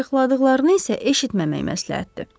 Sayiqladıqlarını isə eşitməmək məsləhətdir.